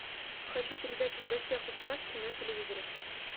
хочу передачу в гостях у сказки на телевизоре